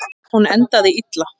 Hún endaði illa.